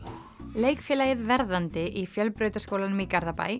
leikfélagið verðandi í Fjölbrautaskólanum í